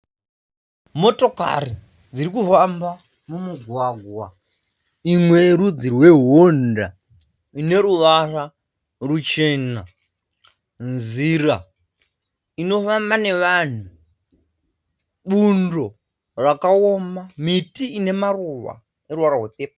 Motokari dzirikufamba mumugwaga. Imwe yerudzi rweHonda ine ruvara ruchena. Nzira inofamba nevanhu. Bundo rakaoma. Miti inemaruva ane ruvara rwe pepuru.